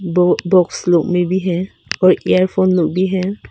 दो बॉक्स लोग में भी हैं और ईयर फोन लोग भी हैं।